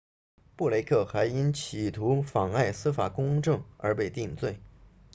布雷克 blake 还因企图妨碍司法公正而被定罪